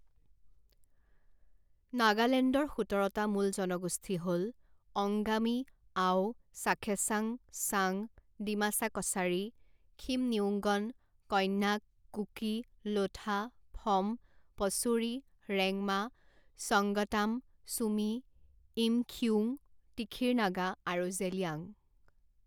নাগালেণ্ডৰ সোতৰটা মূল জনগোষ্ঠী হ'ল অংগামী, আও, চাখেছাং, চাং, ডিমাছা কছাৰী, খিমনিউংগন, কন্যাক, কুকি, লোঠা, ফ'ম, পচুৰী, ৰেংমা, সংগতাম, ছুমি, ইমখিউং, তিখিৰ নাগা আৰু জেলিয়াং।